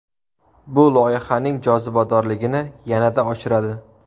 Bu loyihaning jozibadorligini yanada oshiradi.